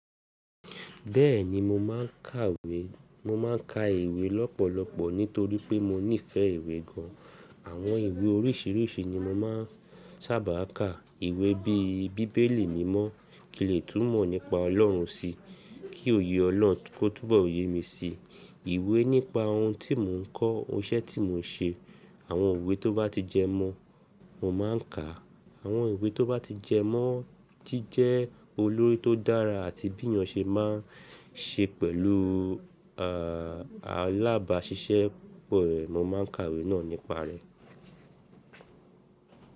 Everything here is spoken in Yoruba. Bẹ́ẹ̀ni mo máà ń kàwé, mo máà ń ka ìwé lọ́pọ̀lọpọ̀ nítorí pé mo nífẹ̀ẹ́ ìwé gan. Àwọn ìwé oríṣiríṣi ni mo máà ń sábà ka. Ìwé bí i bíbélì mímọ́ kí n lè tún mọ̀ nípa Ọlọ́run sí, kí òye Ọlọ́run kó túbọ̀ ye mi sí. Ìwé nípa ohun tí mò ń kọ́, iṣẹ́ tí mò ń ṣe. Àwọn ìwé tó bá ti jẹ mọ́ mo máà ń ka. Àwọn ìwé tó bá ti jẹ mọ́ jẹ́ jẹ́ olórí tó dára àti bí yàn ṣe máa ń ṣe pẹ̀lú, àà lábàá ṣíṣe po mo máa ń ka ìwé náà nípa rẹ̀.